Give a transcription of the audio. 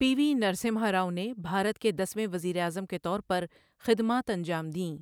پی V Narasimha Rao نے بھارت کے دس ویں وزیر اعظم کے طور پر خدمات انجام دیں۔